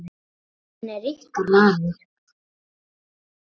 Og hann er ykkar maður.